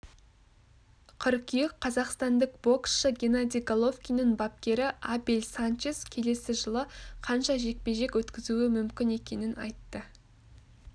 қыркүйек қазақстандық боксшы геннадий головкиннің бапкері абель санчес келесі жылы қанша жекпе-жек өткізуі мүмкін екенін айтты